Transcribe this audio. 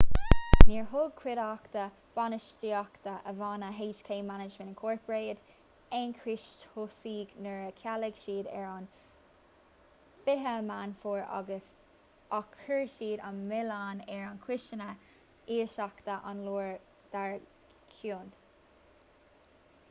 níor thug cuideachta bainistíochta an bhanna hk management inc aon chúis tosaigh nuair a chealaigh siad ar an 20 meán fómhair ach chuir siad an milleán ar chúiseanna lóistíochta an lá dar gcionn